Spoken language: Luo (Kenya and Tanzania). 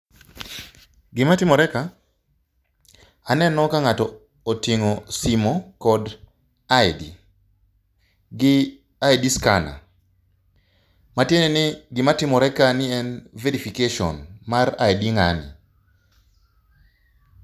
Gima timore ka aneno ka ng'ato oting'o simu kod ID, gi ID scannar. Matiende ni gimatimore kani en verification mar ID ng'ano.